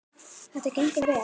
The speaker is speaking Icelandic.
Þetta gengur vel.